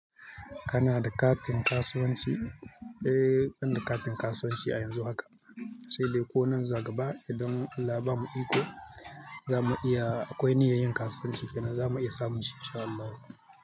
Kana da katin kasuwanci? Eh, ina da katin kasuwanci a yanzu haka. Sai dai ko nan zuwa gaba idan Allah bamu iko zamu iya, akwai niyyan yin kasuwanci kenan zamu iya samun shi in sha Allahu.